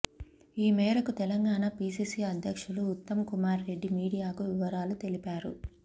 ఈ మేరకు తెలంగాణ పీసీసీ అధ్యక్షులు ఉత్తమ్ కుమార్ రెడ్డి మీడియాకు వివరాలు తెలిపారు